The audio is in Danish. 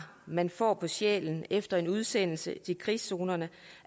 man får på sjælen efter en udsendelse til krigszonerne